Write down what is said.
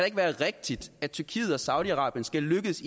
ikke være rigtigt at tyrkiet og saudi arabien skal lykkes